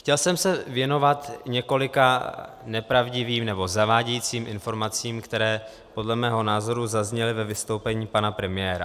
Chtěl jsem se věnovat několika nepravdivým nebo zavádějícím informacím, které podle mého názoru zazněly ve vystoupení pana premiéra.